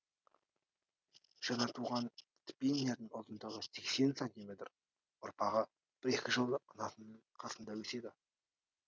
жаңа туған спиннердің ұзындығы сексен сантиметр ұрпағы бір екі жыл анасының қасында өседі